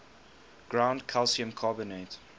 ground calcium carbonate